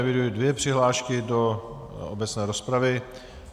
Eviduji dvě přihlášky do obecné rozpravy.